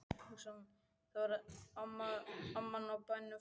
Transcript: Það var þegar amman á bænum fæddist.